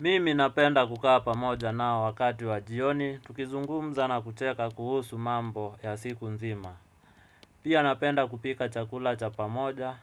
Mimi napenda kukaa pamoja nao wakati wa jioni, tukizungumza na kucheka kuhusu mambo ya siku nzima. Pia napenda kupika chakula cha pamoja,